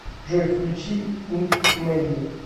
джой включи инв мелли